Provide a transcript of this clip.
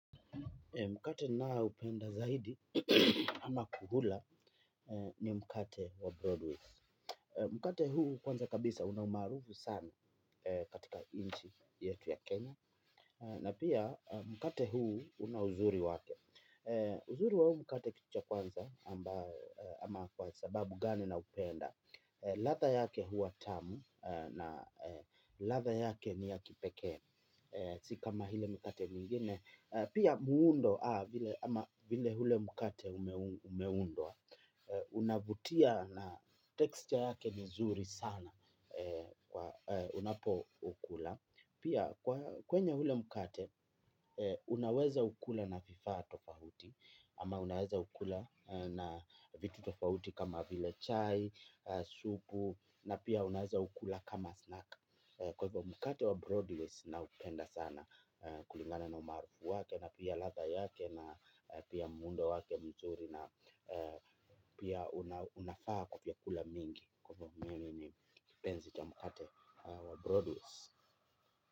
Mkate ninaupenda zaidi ama kukula ni mkate wa Broadway. Mkate huu kwanza kabisa una umaarufu sana katika nchi yetu ya Kenya. Na pia mkate huu una uzuri wake. Uzuri wa huu mkate kitu cha kwanza ama kwa sababu gani naupenda. Ladha yake huwa tamu na ladha yake ni ya kipekee. Si kama ile mkate mingine. Pia muundo, ama vile ule mkate umeundwa, unavutia na texture yake ni zuri sana, unapo ukula. Pia kwenye ule mkate, unaweza ukula na vifaa tofauti, ama unaweza ukula na vitu tofauti kama vile chai, supu, na pia unaweza ukula kama snack. Kwa hivyo mkate wa Broadways naupenda sana kulingana na umaarufu wake na pia ladha yake na pia muundo wake mzuri na pia unafaa kwa vyakula mingi kwa hivyo mimi kipenzi cha mkate wa Broadways.